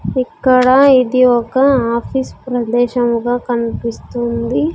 ఇక్కడ ఇది ఒక ఆఫీస్ ప్రదేశముగా కనిపిస్తుంది.